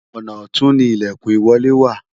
ọnà ọtun ni ilekun ìwọlé wa